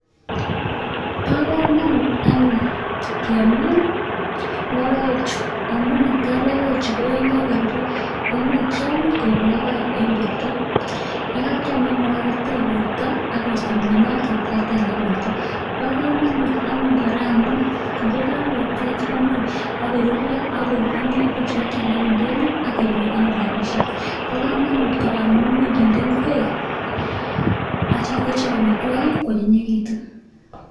Bo kamanut anyun kemin lokoechu amun ne tai lokoechu ne tai yan kakorurio ko much kiam kuib lokoek eng borta, ye kakiam kotech borta akuisto mianwoek che terter eng borta. Bo kamanut amun kora amun ye kaketech komuch akururio, akubung'io kealda eng ndonyo akenyoru rabishek. Bo kamanut kora amun much kinde ngwek acha kochop amitwogik koanyinyikitun.